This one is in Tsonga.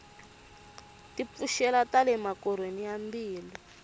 ti pfuxela tale makorhweni ya mbilu